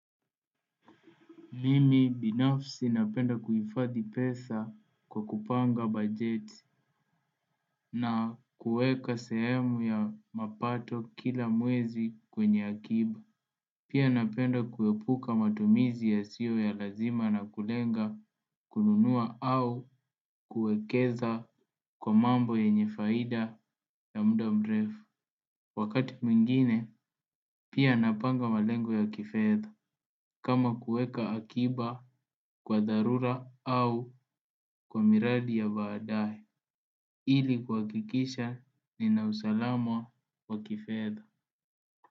Mimi binafsi napenda kuhifadhi pesa kwa kupanga bajeti. Na kuweka sehemu ya mapato kila mwezi kwenye akiba. Pia napenda kuepuka matumizi yasio ya lazima na kulenga kununua au kuwekeza kwa mambo ya yenye faida ya muda mrefu. Wakati mwingine pia napanga malengo ya kifedha. Kama kuweka akiba kwa dharura au kwa miradi ya baadae. Ili kuhakikisha nina usalama wa kifedha.